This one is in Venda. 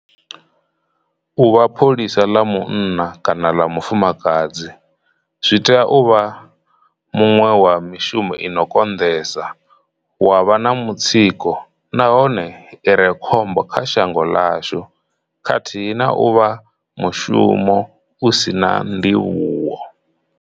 U vha pholisa ḽa munna kana ḽa mufumakadzi zwi tea u vha muṅwe wa mishumo ino konḓesa, wa vha na mutsiko nahone ire khombo kha shango ḽashu, khathihi na u vha mushumo u si na ndivhuwo.